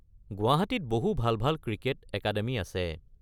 গুৱাহাটীত বহু ভাল ভাল ক্ৰিকেট একাডেমি আছে।